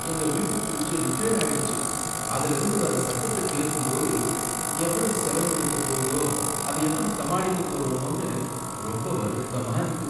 எங்க வீட்டு fridge repair ஆயிடுச்சு. அதுல இருந்து வர்ற சத்தத்த கேக்கும்போது, எவ்வளவு செலவு வைக்கப்போகுதோ, அதை எப்படி சமாளிக்கப் போறோமோனு ரொம்ப வருத்தமா இருக்கு.